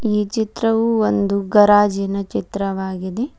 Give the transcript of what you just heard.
ಈ ಚಿತ್ರವು ಒಂದು ಗರಾಜಿನ ಚಿತ್ರವಾಗಿದೆ.